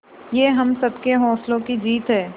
ये हम सबके हौसलों की जीत है